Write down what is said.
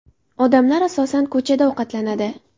Odamlar, asosan, ko‘chada ovqatlanadi.